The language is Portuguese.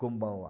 Kumbawa.